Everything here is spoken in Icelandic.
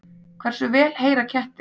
Hversu vel heyra kettir?